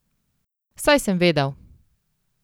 Saj sem vedel!